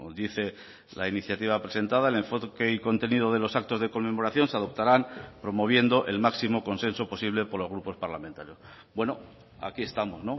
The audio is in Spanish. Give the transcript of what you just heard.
dice la iniciativa presentada el enfoque y contenido de los actos de conmemoración se adoptarán promoviendo el máximo consenso posible por los grupos parlamentarios bueno aquí estamos